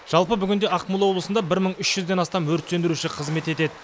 жалпы бүгінде ақмола облысында бір мың үш жүзден астам өрт сөндіруші қызмет етеді